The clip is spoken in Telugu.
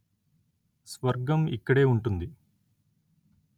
స్వర్గం ఇక్కడే వుంటుంది